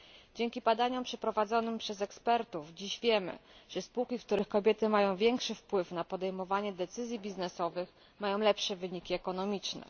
Dzięki badaniom przeprowadzonym przez ekspertów dziś wiemy, że spółki, w których kobiety mają większy wpływ na podejmowanie decyzji biznesowych, mają lepsze wyniki ekonomiczne.